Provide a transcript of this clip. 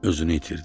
Özünü itirdi.